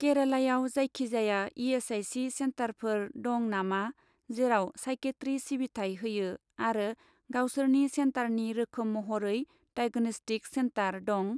केरालायाव जायखिजाया इ.एस.आइ.सि. सेन्टारफोर दं नामा जेराव साइकेट्रि सिबिथाय होयो आरो गावसोरनि सेन्टारनि रोखोम महरै डाइगन'स्टिक सेन्टार दं?